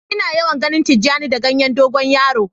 Ina yawan ganin tijani da ganyen dogo yaro.